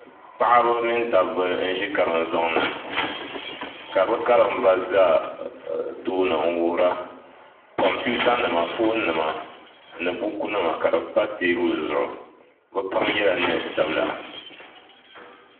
Paɣaba mini dabba n ʒi karim zoŋni ka bi karimba ʒɛ tooni n wuhuriba kompiuta nima foon nima ni buku nima ka di pa teebuli zuɣu bi pam yɛla neen sabila